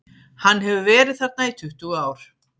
Hann hefur verið þarna í tuttugu ár.